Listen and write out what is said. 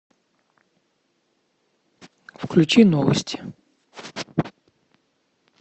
включи новости